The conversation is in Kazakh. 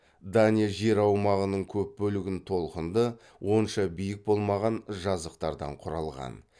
дания жер аумағының көп бөлігін толқынды онша биік болмаған жазықтықтардан құралған